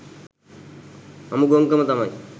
අමු ගොංකම තමයි